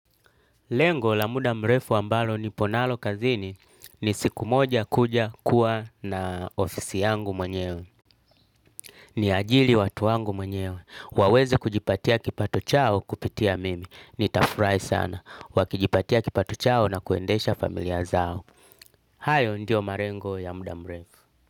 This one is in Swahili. Lengo la muda mrefu ambalo nipo nalo kazini ni siku moja kuja kuwa na ofisi yangu mwenyewe. Ni ajiri watu wangu mwenyewe. Waweze kujipatia kipato chao kupitia mimi. Nitafurahi sana. Wakijipatia kipatu chao na kuendesha familia zao. Hayo ndiyo malengo ya muda mrefu.